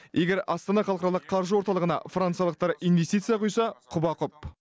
егер астана халықаралық қаржы орталығына франциялықтар инвестиция құйса құба құп